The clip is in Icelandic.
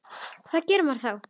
Hvað gerir maður þá?